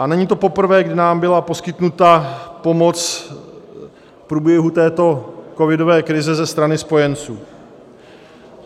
A není to poprvé, kdy nám byla poskytnuta pomoc v průběhu této covidové krize ze strany spojenců.